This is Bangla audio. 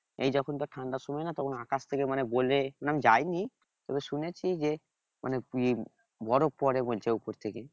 এই যখন ধর ঠান্ডার সময় না তখন আকাশ থেকে মানে গলে আমি যায় নি তবে শুনেছি যে মানে বরফ পড়ে বলছে উপর থেকে